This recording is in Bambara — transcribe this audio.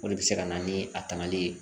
O de bɛ se ka na ni a tangali ye